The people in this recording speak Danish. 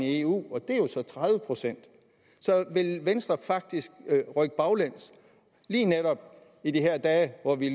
eu og det er jo så tredive procent så vil venstre faktisk rykke baglæns lige netop i de her dage hvor vi